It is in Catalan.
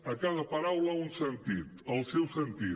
a cada paraula un sentit el seu sentit